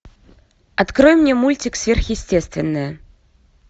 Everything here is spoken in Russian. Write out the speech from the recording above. открой мне мультик сверхъестественное